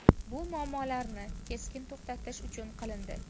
Bu muammolarni keskin to‘xtatish uchun qilindi.